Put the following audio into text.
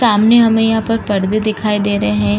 सामने हमें यहाँ पर परदे दिखाई दे रहे हैं।